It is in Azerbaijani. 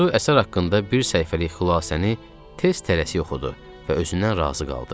Aysu əsər haqqında bir səhifəlik xülasəni tez tələsik oxudu və özündən razı qaldı.